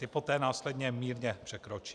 Ta poté následně mírně překročí.